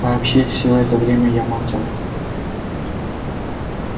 вообще всё это время молчал